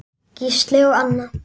Gísli og Anna.